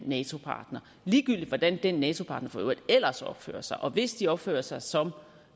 nato partner ligegyldigt hvordan den nato partner for øvrigt ellers opfører sig og hvis de opfører sig som